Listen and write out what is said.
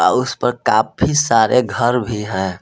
उस पर काफी सारे घर भी हैं।